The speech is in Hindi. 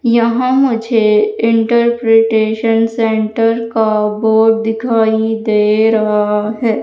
यहां मुझे इंटरप्रिटेशन सेंटर का बोर्ड दिखाई दे रहा है।